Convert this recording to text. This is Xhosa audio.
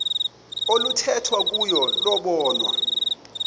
oluthethwa kuyo lobonwa